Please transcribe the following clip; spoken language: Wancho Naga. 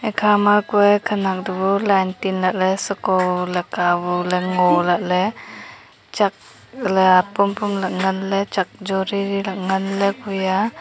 ekha ma kue khanak tu line tin lah ley sheko lak ka bu ngo lah ley chak ley apong pong lah ley ngan ley chak chu re re ngan ley kue a.